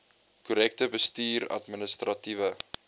korrekte bestuurs administratiewe